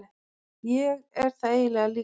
Ég er það eiginlega líka.